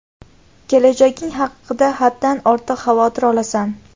Kelajaging haqida haddan ortiq xavotir olasan.